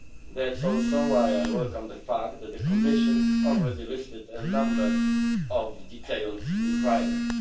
That is also why I welcome the fact that the Commission has already listed a number of detailed requirements.